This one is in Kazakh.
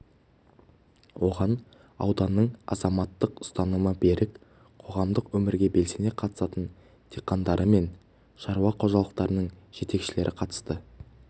оған ауданның азаматтық ұстанымы берік қоғамдық өмірге белсене қатысатын диқандары мен шаруа қожалықтарының жетекшілері қатысты тұрғындары тығыз орналасқан өңірде жер мәселесі